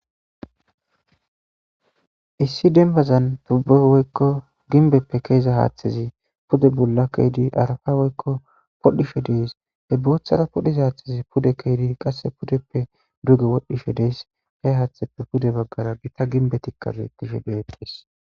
issi denbazan tubbe woykko ginbeppe keeza haaththezi pude bulla keydi arafa woykko podhishe dees he booththara podhiz haaththezi pude keedi qasse pudeppe duge wodhishe dees he haaththeppe pude baggara gita ginbe tikkaz etishe deedhis